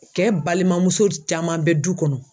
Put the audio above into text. Cɛ balimamuso caman bɛ du kɔnɔ.